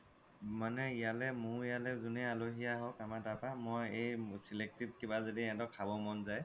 মানে ইয়ালে মোৰ ইয়ালে যোনে আল্হি আহ্ক আমাৰ তাৰ পৰা মই এই selected কিবা য্দি সিহ্তৰ খাব মন যাই